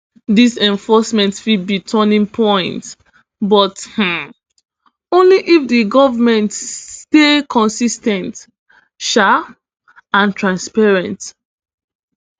dis enforcement fit be turning point but um only if di goment stay consis ten t um and transparent